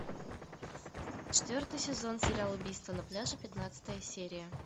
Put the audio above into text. четвертый сезон сериал убийство на пляже пятнадцатая серия